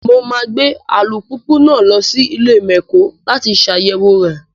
Mo máa gbé Alùpùpù náà lọ sí ilé mẹ́kò láti ṣàyẹ̀wò rẹ̀